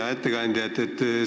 Hea ettekandja!